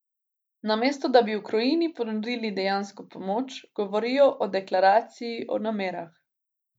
Odločba upravne enote zato še ni pravnomočna.